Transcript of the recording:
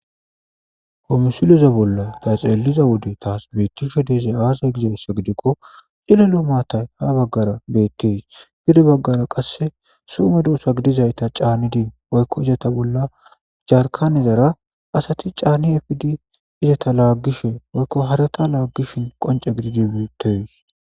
Ha missileza bolla ta xallishe dizaysi aaze giiko cillilo maatay ha baggara bettes gedde baggara qasse soho meddosa giddidayta caanidi jarkanezara asti canidi izzeta laggishe woyko hareta lagizays qoncce gididi bettes.